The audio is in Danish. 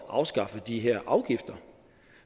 afskaffe de her afgifter